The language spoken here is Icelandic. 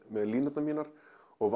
með línurnar mínar og